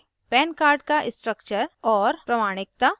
pan card का structure और प्रमाणिकता